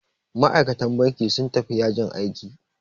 Ma'aikatan bankin sun tafi yajin aiki.